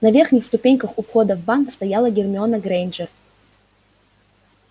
на верхних ступеньках у входа в банк стояла гермиона грэйнджер